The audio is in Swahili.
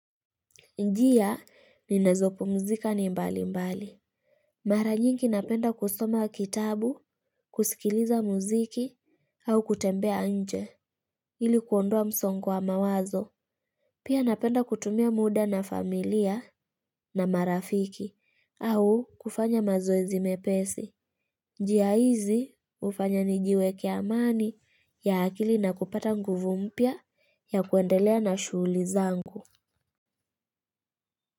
Njia, ninazopumzika ni mbali mbali. Mara nyingi napenda kusoma kitabu, kusikiliza mziki, au kutembea nje, ili kuondoa msongo wa mawazo. Pia napenda kutumia muda na familia na marafiki, au kufanya mazoezi mepesi. Njia hizi, ufanya nijiweke amani ya hakili na kupata nguvu mpya ya kuendelea na shuguli zangu.